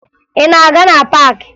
Ị na-aga na paakị?